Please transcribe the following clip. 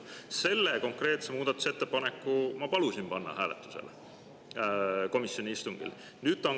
Selle konkreetse muudatusettepaneku ma palusin panna hääletusele komisjoni istungil.